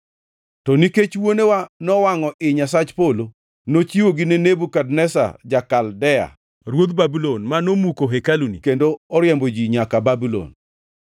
To nikech wuonewa nowangʼo ii Nyasach Polo, nochiwogi ne Nebukadneza ja-Kaldea, ruodh Babulon, ma nomuko hekaluni kendo oriembo ji nyaka Babulon.